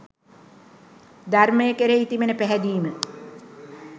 ධර්මය කෙරෙහි තිබෙන පැහැදීම